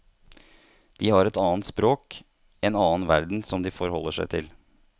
De har et annet språk, en annen verden som de forholder seg til.